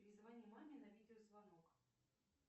перезвони маме на видеозвонок